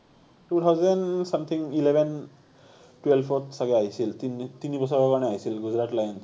two thousand something eleven twelve ত চাগে আহিছিল, তিনি তিনি বছৰৰ কাৰণে আহিছিল গুজৰাট লায়নছ